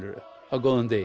á góðum degi